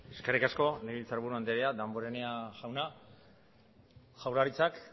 eskerrik asko legebiltzarburu andrea damborenea jauna jaurlaritzak